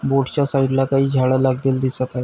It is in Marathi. बोट च्या साइड ला काय झाडे लागलेली दिसत आहे.